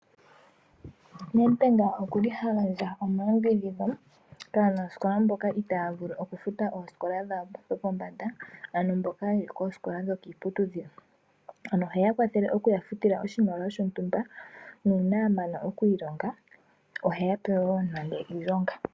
Nedbank okuli hagandja omayambidhidho kaanasikola mboka itaya vulu okufuta oosikola dhawo dhopombanda ano mboka yeli koosikola dhokiiputudhilo, ano oheyakwathele okuyafutila oshimaliwa shontumba nuuna yamana okwiilonga oheyape wo iilonga.